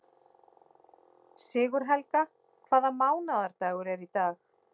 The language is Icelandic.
Sigurhelga, hvaða mánaðardagur er í dag?